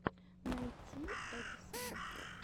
найти эдисона